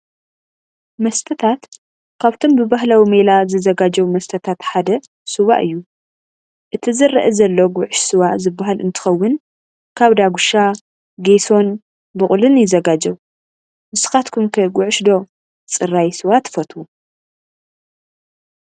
መስተታት፡- ካብቶም ብባህላዊ ሜላ ዝዘጋጀው መስተታት ሓደ ስዋ እዩ፡፡ እቲ ዝረአ ዘሎ ጉዕሽ ስዋ ዝባሃል እንትኸውን ካብ ዳጉሻ፣ ጌሶን ቡቕል ይዘጋጀው፡፡ ንስኻትኩም ከ ጉዕሽ ዶ ፅራይ ስዋ ትፈትው?